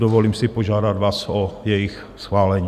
Dovolím si požádat vás o jejich schválení.